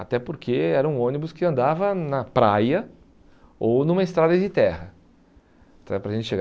até porque era um ônibus que andava na praia ou numa estrada de terra até para a gente chegar.